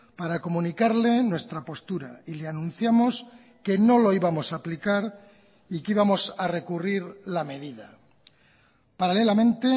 para comunicarle nuestra postura y le anunciamos que no lo íbamos a aplicar y que íbamos a recurrir la medida paralelamente